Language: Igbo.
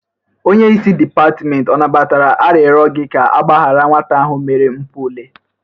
Onyeisi dịpatmenti ọ nabatara arịrọ gi ka agbaharị nwata ahụ mere mpụ ule?